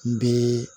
N bɛ